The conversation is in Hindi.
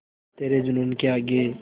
तेरे जूनून के आगे